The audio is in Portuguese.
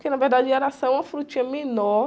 Porque, na verdade, araçá é uma frutinha menor.